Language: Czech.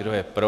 Kdo je pro?